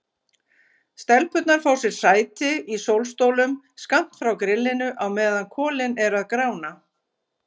Stelpurnar fá sér sæti í sólstólum skammt frá grillinu á meðan kolin eru að grána.